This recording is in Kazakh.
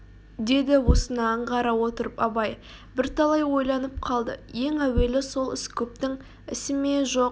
деді осыны аңғара отырып абай бірталай ойланып қалды ең әуелі сол іс көптің ісі ме жоқ